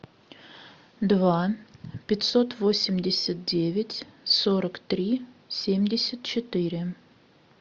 два пятьсот восемьдесят девять сорок три семьдесят четыре